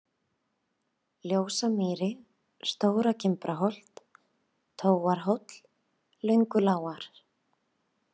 Ljósamýri, Stóra-Gimbrarholt, Tóarhóll, Löngulágar